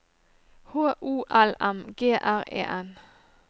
H O L M G R E N